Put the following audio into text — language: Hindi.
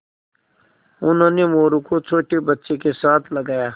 उन्होंने मोरू को छोटे बच्चों के साथ लगाया